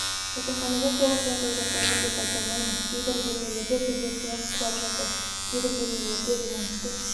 жатақханада толық жағдай жасалған деп айта алмаймыз кейбір бөлмелерде бізде сылақ құлап жатыр кейбір бөлмелерде ремонтты